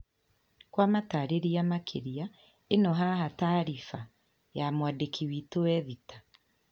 Kwa matareria makĩria ĩno haha taariba ya mwandĩki witũ Ethita.